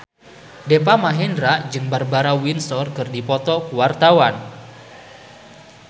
Deva Mahendra jeung Barbara Windsor keur dipoto ku wartawan